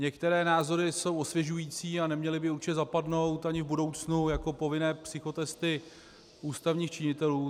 Některé názory jsou osvěžující a neměly by určitě zapadnout ani v budoucnu, jako povinné psychotesty ústavních činitelů.